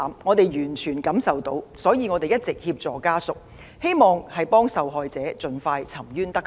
我們完全感受到家屬的哀痛，所以一直協助他們，希望受害者盡快沉冤得雪。